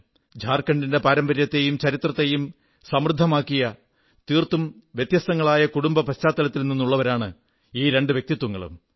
ഝാർഖണ്ഡിന്റെ പാരമ്പര്യത്തെയും ചരിത്രത്തെയും സമൃദ്ധമാക്കിയ തീർത്തും വ്യത്യസ്തങ്ങളായ കുടുംബ പശ്ചാത്തലത്തിൽ നിന്നുള്ളവരാണ് രണ്ടു വ്യക്തിത്വങ്ങളും